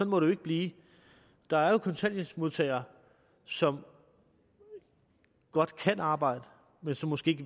må det ikke blive der er jo kontanthjælpsmodtagere som godt kan arbejde men som måske